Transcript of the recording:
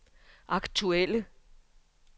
aktuelle